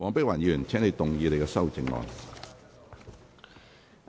黃碧雲議員，請動議你的修正案。